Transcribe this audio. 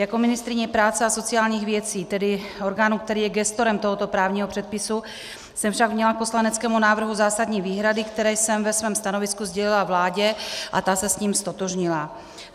Jako ministryně práce a sociálních věcí, tedy orgánu, který je gestorem tohoto právního předpisu, jsem však měla k poslaneckému návrhu zásadní výhrady, které jsem ve svém stanovisku sdělila vládě, a ta se s tím ztotožnila.